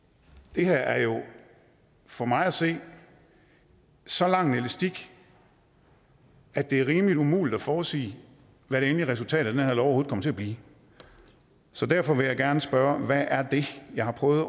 det her er jo for mig at se så lang en elastik at det er rimelig umuligt at forudsige hvad det endelige resultat af den her lov overhovedet kommer til at blive så derfor vil jeg gerne spørge hvad er det jeg har prøvet